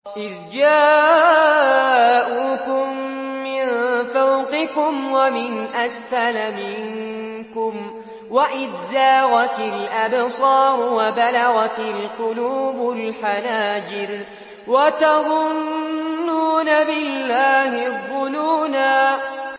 إِذْ جَاءُوكُم مِّن فَوْقِكُمْ وَمِنْ أَسْفَلَ مِنكُمْ وَإِذْ زَاغَتِ الْأَبْصَارُ وَبَلَغَتِ الْقُلُوبُ الْحَنَاجِرَ وَتَظُنُّونَ بِاللَّهِ الظُّنُونَا